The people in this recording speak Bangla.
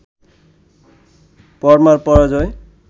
পরমার পরাজয়